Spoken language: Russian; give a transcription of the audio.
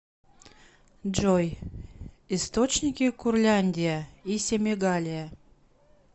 джой источники курляндия и семигалия